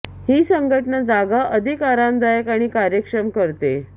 ही संघटना जागा अधिक आरामदायक आणि कार्यक्षम करते